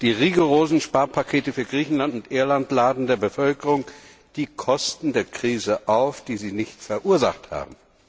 Die rigorosen Sparpakete für Griechenland und Irland laden der Bevölkerung die Kosten der Krise auf, die sie nicht verursacht haben.